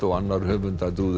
og annar höfunda do